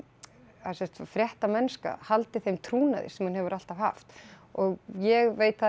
að fréttamennska haldi þeim trúnaði sem hún hefur alltaf haft og ég veit það